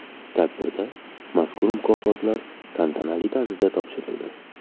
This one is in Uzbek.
Tadbirda mazkur mukofotlar tantanali tarzda topshirildi.